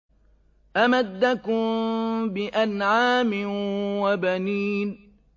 أَمَدَّكُم بِأَنْعَامٍ وَبَنِينَ